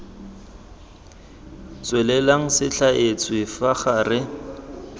tswelelang se thaetswe fa gare